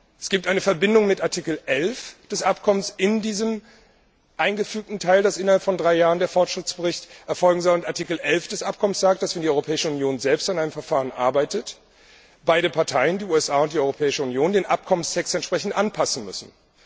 Es gibt eine Verbindung mit Artikel 11 des Abkommens in diesem eingefügten Teil, dass innerhalb von drei Jahren der Fortschrittsbericht erfolgen soll, und Artikel 11 des Abkommens sagt, dass, wenn die Europäische Union selbst an einem Verfahren arbeitet, beide Parteien die USA und die Europäische Union den Abkommenstext entsprechend anpassen müssen.